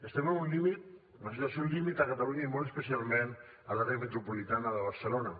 estem en una situació límit a catalunya i molt especialment a l’àrea metropolitana de barcelona